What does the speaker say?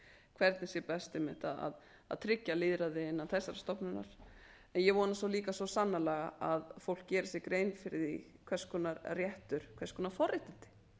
hvernig sé best einmitt að tryggja lýðræði innan þessarar stofnunar en ég vona líka svo sannarlega að fólk geri sér grein fyrir því hvers konar réttur hvers konar forréttindi